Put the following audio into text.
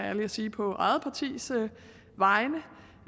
ærlig og sige på eget partis vegne